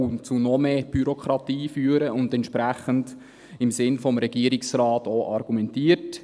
Das führte zu mehr Bürokratie, was der Argumentation des Regierungsrates entspricht.